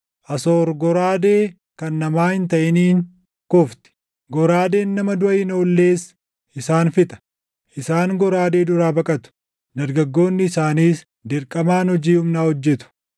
“Asoor goraadee kan namaa hin taʼiniin kufti; goraadeen nama duʼa hin oollees isaan fixa. Isaan goraadee duraa baqatu; dargaggoonni isaaniis dirqamaan hojii humnaa hojjetu.